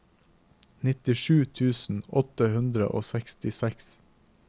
nittisju tusen åtte hundre og sekstiseks